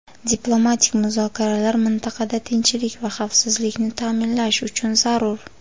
diplomatik muzokaralar mintaqada tinchlik va xavfsizlikni ta’minlash uchun zarur.